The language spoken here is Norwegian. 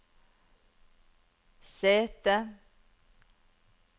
sete